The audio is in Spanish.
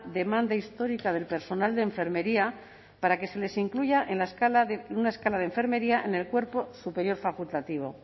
demanda histórica del personal de enfermería para que se les incluya en una escala de enfermería en el cuerpo superior facultativo